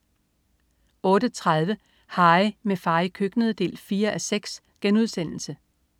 08.30 Harry, med far i køkkenet 4:6*